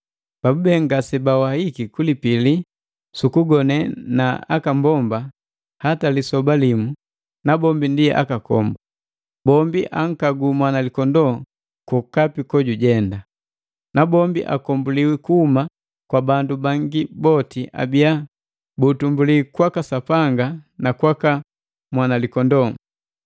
Bandu haba ndi bala babube ngaseawahiki kulipili ku kugone na akambomba hata lisoba limu, nabombi ndi akakombu. Bombi ankagu Mwanalikondoo kwokapi kojujenda. Nabombi akombuliwi kuhuma kwa bandu bangi boti abiya buutumbuli kwaka Sapanga na kwaka mwanalikondoo.